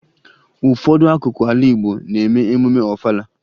Ụfọdụ akụkụ ala Igbo na-eme emume Ọfala